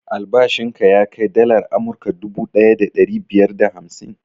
Albashin ka ya kai dalar amurka duvu ɗaya da ɗari biyar da hamsin?